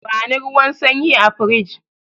Bani ruwan sanyi a firij!